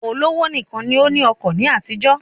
Olówó nìkan ni ó ní ọkọ̀ ní àtijó